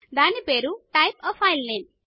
దాని పేరుType a file name